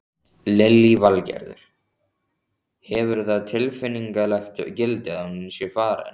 Lillý Valgerður: Hefur það tilfinningalegt gildi að hún sé farin?